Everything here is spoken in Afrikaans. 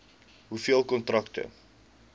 hoeveel kontrakte